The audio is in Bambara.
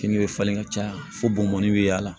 Fini bɛ falen ka caya fo bomɔni bɛ y'a la